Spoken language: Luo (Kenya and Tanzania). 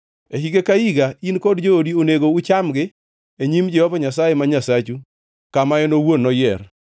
E higa ka higa in kod joodi onego uchamgi e nyim Jehova Nyasaye ma Nyasachu kama en owuon noyier.